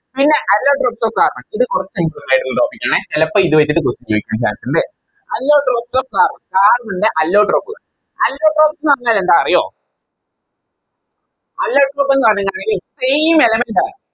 പിന്നാ Allotropes of carbon ഇത് കൊറച്ച് Important ആയിട്ടുള്ള Topic ആണേ ചെലപ്പോ ഇത് വെച്ചിറ്റ് Question ചോയിക്കാൻ Chance ഇണ്ട് Allotropes of carbon carbon ൻറെ Allotrope കൾ Allotropes ന്ന് പറഞ്ഞ എന്താ അറിയോ Allotrope ന്ന് പറഞ്ഞായിഞ്ഞാല് Same element ആണ്